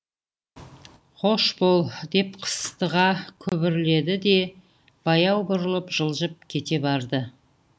қош бол деп қыстыға күбірледі де баяу бұрылып жылжып кете барды